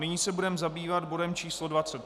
Nyní se budeme zabývat bodem číslo